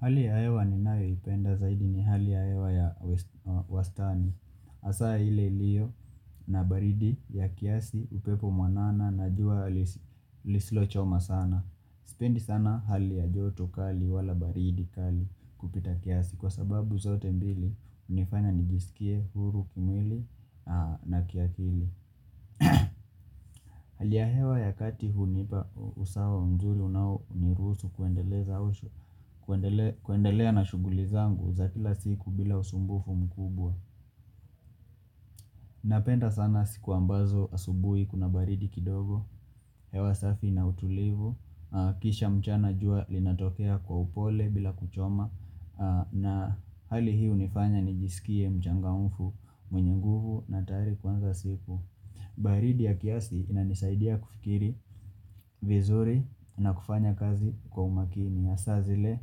Hali ya hewa ninayo ipenda zaidi ni hali ya hewa ya wastani. Hasa ile liyo na baridi ya kiasi upepo mwanana na jua lisilochoma sana. Sipendi sana hali ya joto kali wala baridi kali kupita kiasi kwa sababu zote mbili hunifanya nijisikie huru kimwili na kiakili. Hali ya hewa ya kati hunipa usawa mzuri unao niruhusu kuendeleza usho kuendelea na shughuli zangu za kila siku bila usumbufu mkubwa Napenda sana siku ambazo asubuhi kuna baridi kidogo hewa safi na utulivu Kisha mchana jua linatokea kwa upole bila kuchoma na hali hii hunifanya nijisikie mchangamfu mwenye nguvu na tayari kuanza siku baridi ya kiasi inanisaidia kufikiri vizuri na kufanya kazi kwa umakini hasa zile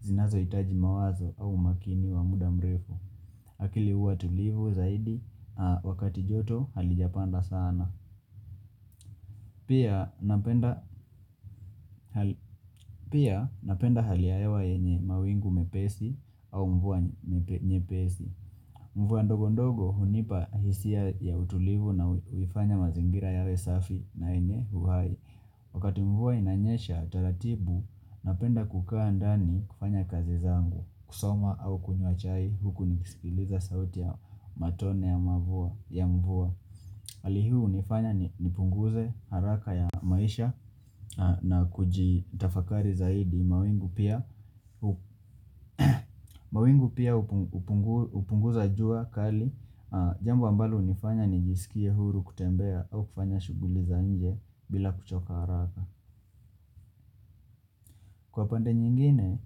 zinazohitaji mawazo au umakini wa muda mrefu. Akili huwa tulivu zaidi wakati joto halijapanda sana. Pia napenda hali ya hewa yenye mawingu mepesi au mvua nyepesi. Mvua ndogo ndogo hunipa hisia ya utulivu na huifanya mazingira yawe safi na yenye uhai. Wakati mvua inanyesha, taratibu, napenda kukaa ndani kufanya kazi zangu, kusoma au kunywa chai huku nikisikiliza sauti ya matone ya mvua. Hali hii hunifanya nipunguze haraka ya maisha na kujitafakari zaidi mawingu pia mawingu pia hupunguza jua kali. Jambo ambalo hunifanya nijisikie huru kutembea au kufanya shughuli za nje bila kuchoka haraka. Kwa pande nyingine,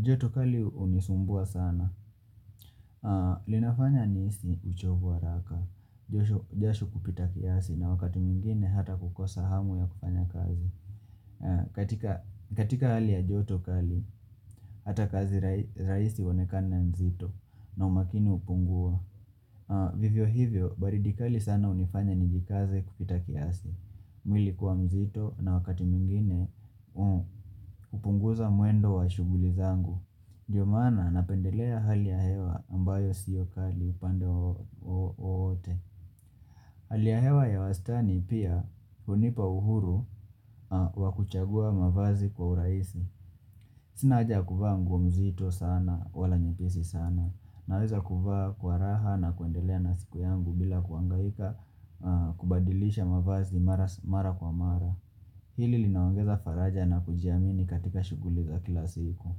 joto kali hunisumbua sana. Linafanya nihisi uchovu wa haraka, jasho kupita kiasi na wakati mwingine hata kukosa hamu ya kufanya kazi. Katika hali ya joto kali, hata kazi rahisi huonekana nzito na umakini hupungua. Vivyo hivyo baridi kali sana hunifanya nijikaze kupita kiasi mwili kuwa mzito na wakati mwingine hupunguza mwendo wa shughuli zangu ndio maana napendelea hali ya hewa ambayo siyo kali upande wowote Hali ya hewa ya wastani pia hunipa uhuru wa kuchagua mavazi kwa urahisi Sina haja ya kuvaa nguo mzito sana wala nyepesi sana Naweza kuvaa kwa raha na kuendelea na siku yangu bila kuhangaika kubadilisha mavazi mara kwa mara Hili linaongeza faraja na kujiamini katika shughuli za kila siku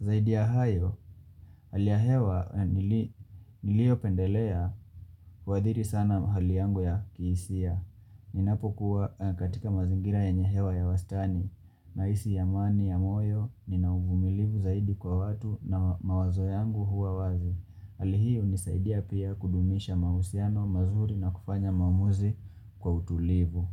Zaidi ya hayo, hali ya hewa niliopendelea huadhiri sana hali yangu ya kihisia Ninapokuwa katika mazingira yenye hewa ya wastani Nahisi amani ya moyo, nina umilivu zaidi kwa watu na mawazo yangu huwa wazi hali hii hunisaidia pia kudumisha mahusiano mazuri na kufanya maamuzi kwa utulivu.